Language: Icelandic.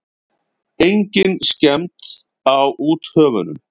Engin skemmd á úthöfunum.